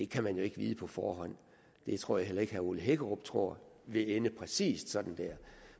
kan man jo ikke vide på forhånd det tror jeg heller ikke at herre ole hækkerup tror vil ende præcis sådan der